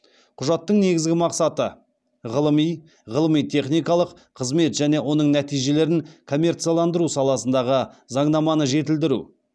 құжаттың негізгі мақсаты ғылыми ғылыми техникалық қызмет және оның нәтижелерін коммерцияландыру саласындағы заңнаманы жетілдіру